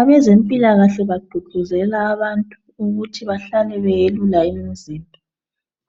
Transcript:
Abezempila kahle bagqugquzela abantu bahlale beyelula imizimba